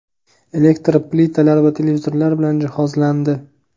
elektr plitalar va televizorlar bilan jihozlandi.